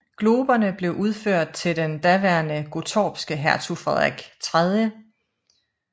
Globerne blev udført til den daværende gottorpske hertug Frederik 3